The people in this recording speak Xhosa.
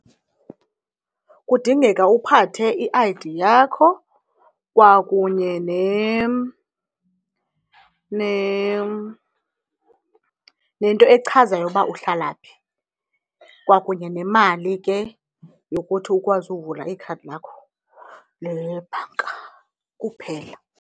Kudingeka uphathe i-I_D yakho kwakunye nento echazayo uba uhlala phi kwakunye nemali ke yokuthi ukwazi uvula ikhadi lakho lebhanka kuphela.